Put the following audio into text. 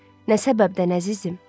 Nə səbəbdən, əzizim?